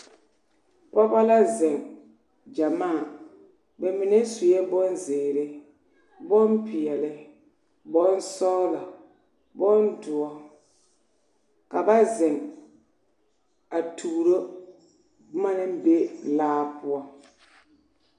Pɔgeba la zeŋ gyamaa ba mine sue bonzeere bompeɛle bonsɔglɔ bondoɔ ka ba zeŋ a tuuro boma naŋ be laa poɔ.